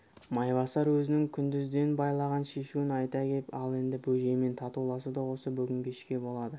майбасар өзінің күндізден байлаған шешуін айта кеп ал енді бөжеймен татуласу да осы бүгін кешке болады